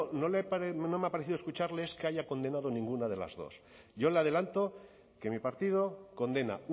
me ha parecido escucharle es que haya condenado ninguno de las dos yo le adelanto que mi partido condena